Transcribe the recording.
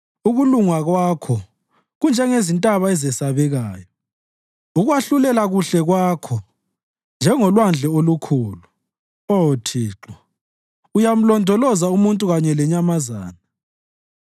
Ukulunga Kwakho kunjengezintaba ezesabekayo, ukwahlulela kuhle Kwakho njengolwandle olukhulu. Oh Thixo, uyamlondoloza umuntu kanye lenyamazana.